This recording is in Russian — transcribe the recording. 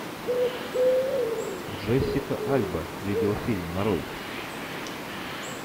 джессика альба видеофильм нарой